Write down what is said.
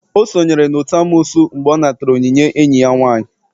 O sonyere n'otu n'amoosu mgbe ọ natara onyinye enyi ya nwaanyị.